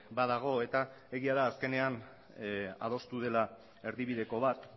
badago eta egia da azkenean adostu dela erdibideko bat